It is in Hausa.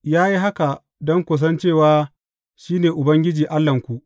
Ya yi haka don ku san cewa shi ne Ubangiji Allahnku.